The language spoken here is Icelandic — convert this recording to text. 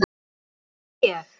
Og hér bý ég!